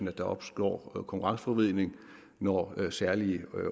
at der opstår konkurrenceforvridning når særlige